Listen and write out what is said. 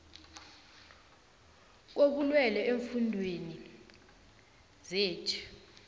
kobulwele eemfundeni zethu